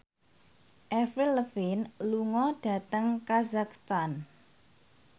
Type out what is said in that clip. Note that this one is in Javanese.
Avril Lavigne lunga dhateng kazakhstan